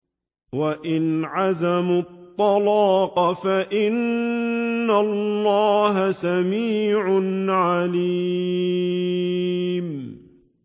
وَإِنْ عَزَمُوا الطَّلَاقَ فَإِنَّ اللَّهَ سَمِيعٌ عَلِيمٌ